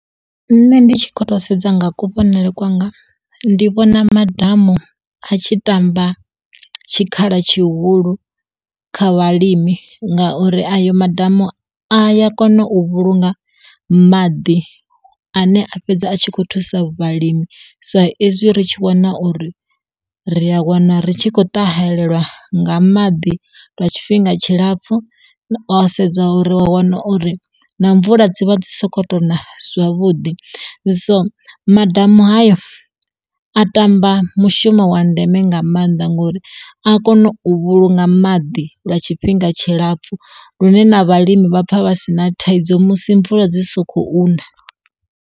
Nṋe ndi tshi kho to sedza nga kuvhonele kwanga ndi vhona madamu a tshi tamba tshikhala tshihulu, kha vhalimi ngauri ayo madamu a ya kona u vhulunga maḓi a ne a fhedza a tshi kho thusa vhalimi sa ezwi ri tshi wana uri ri a wana ri tshi khou ṱahelelwa nga maḓi lwa tshifhinga tshilapfhu wa sedza wana uri na mvula dzi vha dzi soko to na zwavhuḓi. So madamu hayo a ṱamba mushumo wa ndeme nga maanḓa ngori a kone u vhulunga maḓi lwa tshifhinga tshilapfhu lune na vhalimi vha pfa vha si na thaidzo musi mvula dzi sokou na.